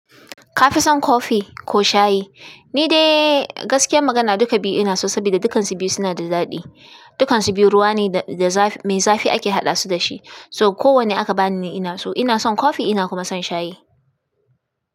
Ka fi son kofi ko shayi? Ni dai gaskiyar magana duka biyu ina so, sabida dukansu biyu suna da daɗi. Dukansu biyu ruwa ne da, mai zafi ake haɗa su dashi. So kowane aka bani ni ina so. Ina son kofi ina kuma son shayi.